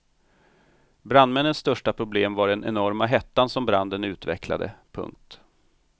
Brandmännens största problem var den enorma hetta som branden utvecklade. punkt